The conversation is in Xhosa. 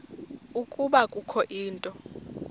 ukuba kukho into